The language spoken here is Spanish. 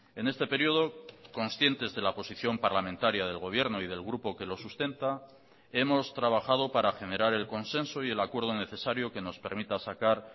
en este periodo conscientes de la posición parlamentaria del gobierno y del grupo que lo sustenta hemos trabajado para generar el consenso y el acuerdo necesario que nos permita sacar